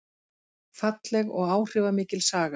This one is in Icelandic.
Falleg og áhrifamikil saga